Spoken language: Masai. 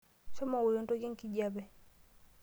Shomo ng'oru entoki enkijape.